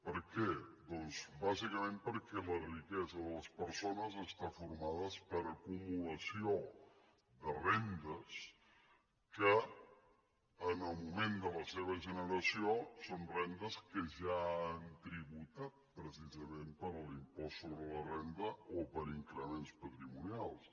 per què doncs bàsicament perquè la riquesa de les persones està formada per acumulació de rendes que en el moment de la seva generació són rendes que ja han tributat precisament per l’impost sobre la renda o per increments patrimonials